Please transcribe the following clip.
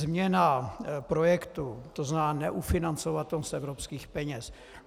Změna projektu, to znamená neufinancovat to z evropských peněz.